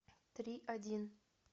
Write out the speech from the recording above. три один